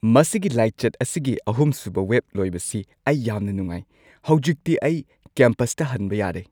ꯃꯁꯤꯒꯤ ꯂꯥꯏꯆꯠ ꯑꯁꯤꯒꯤ ꯑꯍꯨꯝꯁꯨꯕ ꯋꯦꯕ ꯂꯣꯏꯕꯁꯤ ꯑꯩ ꯌꯥꯝꯅ ꯅꯨꯡꯉꯥꯏ꯫ ꯍꯧꯖꯤꯛꯇꯤ ꯑꯩ ꯀꯦꯝꯄꯁꯇ ꯍꯟꯕ ꯌꯥꯔꯦ꯫